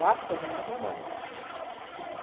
Dá para fazer um bom trabalho ali.